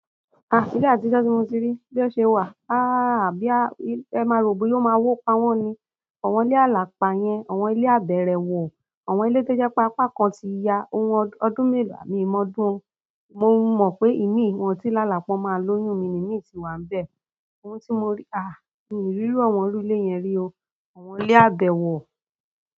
Ilé àtijọ́ tí mo tí rí, bí o ṣe wà, ẹ má rò bóyá ó má wo pa wọn ni. Àwọn ilé alapá yẹn, àwọn ilé abẹrẹ wọ, àwọn ilé te jẹ pa apá kan tí ya ọdún melo, mi i ọdún o. Mo mọ pé imi wọn ti lálá pé wọn má lóyún mi ní imi ti wà ibẹ. Ohun tí mo rí, ah! Mi rírú àwọn irú ilé yẹn rí o. Àwọn ilé abẹ wọ.